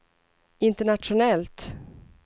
internationellt